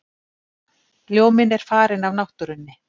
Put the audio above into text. Ljóminn er farinn af náttúrunni.